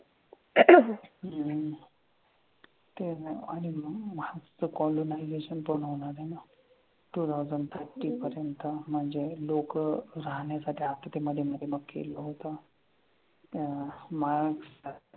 हम्म ते आणि ना मार्सचं colonization पूर्ण होणार आहे ना. Two thousand thirty पर्यंत. म्हणजे लोकं राहण्याच्या त्या मधे मग केलं होतं. त्या मार्स,